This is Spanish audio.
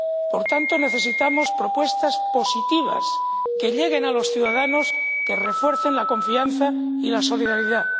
Por tanto, necesitamos propuestas positivas que lleguen a los ciudadanos, que refuercen la confianza y la solidaridad.